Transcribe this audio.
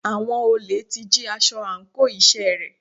Àwọn olè ti jí aṣọ àńkò iṣẹ́ rẹ̀.